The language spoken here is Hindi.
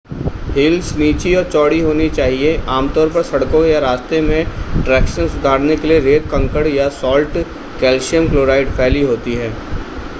हील्स नीची और चौड़ी होनी चाहिए. आमतौर पर सड़कों या रास्ते में ट्रैक्शन सुधारने के लिए रेत कंकड़ या सॉल्ट कैल्शियम क्लोराइड फैली होती है